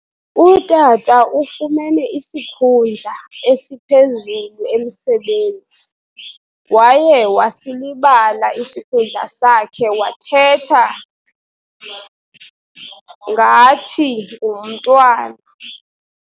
Utata ufumene isikhundla esiphezulu emsebenzi. waye wasilibala isikhundla sakhe wathetha ngathi ngumntwana